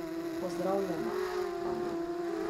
Pozdravljena, Ana.